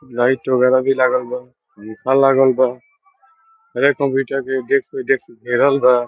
Light वगैरा भी लागल बा लागल बा घेरल बा।